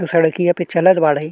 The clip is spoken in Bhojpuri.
उ सड़किया पे चलत बाड़े।